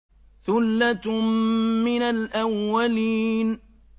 ثُلَّةٌ مِّنَ الْأَوَّلِينَ